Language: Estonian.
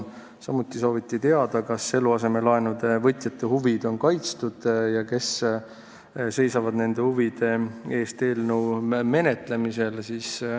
Samuti sooviti teada, kas eluasemelaenude võtjate huvid on kaitstud ja kes seisavad nende huvide eest eelnõu menetlemisel.